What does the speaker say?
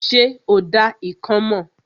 Ṣé o dá ikán mọ̀?